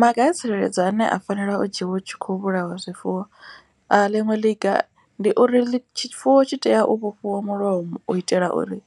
Maga a tsireledzo ane a fanela u dzhiwa hu tshi kho vhulaiwa zwifuwo. A ḽiṅwe ḽiga ndi uri tshifuwo tshi tea u vhofhiwa mulomo u itela uri